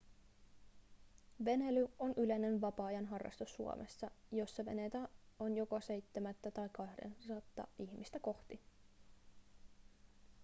veneily on yleinen vapaa-ajan harrastus suomessa jossa veneitä on joka seitsemättä tai kahdeksatta ihmistä kohti